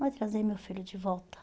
não vai trazer meu filho de volta.